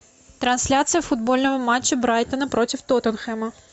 трансляция футбольного матча брайтона против тоттенхэма